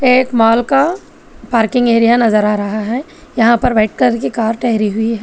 एक मॉल का parking area नजर आ रहा है यहां पर व्हाईट कलर की कार ठहरी हुई है।